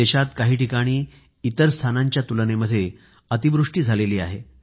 देशात काही ठिकाणी इतर स्थानांच्या तुलनेमध्ये अति पाऊस झाला आहे